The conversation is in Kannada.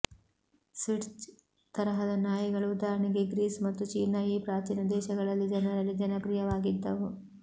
ಸ್ಪಿಟ್ಜ್ ತರಹದ ನಾಯಿಗಳು ಉದಾಹರಣೆಗೆ ಗ್ರೀಸ್ ಮತ್ತು ಚೀನಾ ಈ ಪ್ರಾಚೀನ ದೇಶಗಳಲ್ಲಿ ಜನರಲ್ಲಿ ಜನಪ್ರಿಯವಾಗಿದ್ದವು